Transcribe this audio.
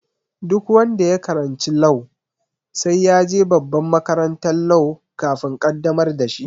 Duk wanda ya karanci law sai ya je babban makarantan law kafin a qaddamar da shi